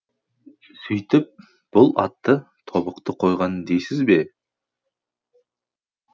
сүйтіп бұл атты тобықты қойған дейсіз бе